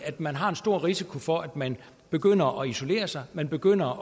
at man har en stor risiko for at man begynder at isolere sig at man begynder at